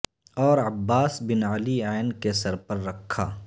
اور عباس بن علی ع کے سر پر رکھا